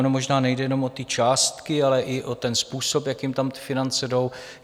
Ono možná nejde jenom o ty částky, ale i o ten způsob, jakým tam ty finance jdou.